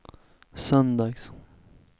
söndags